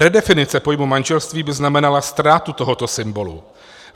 Redefinice pojmu manželství by znamenala ztrátu tohoto symbolu.